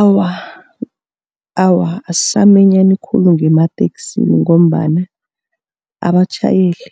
Awa, awa, asisaminyani khulu ngemateksini ngombana abatjhayeli